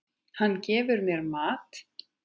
Hann gefur mér mat.